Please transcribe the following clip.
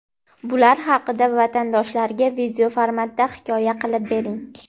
bular haqida vatandoshlarga video formatda hikoya qilib bering.